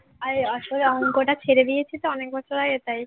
আরে আসলে অঙ্কটা ছেড়ে দিয়েছি তো অনেক বছর আগে তাই